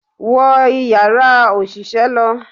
Wo Ìyàrá òṣìṣẹ́ lọ!